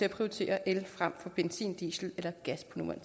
at prioritere el frem for benzin diesel eller gas med